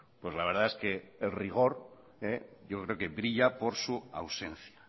pues la verdad es que el rigor yo creo que brilla por su ausencia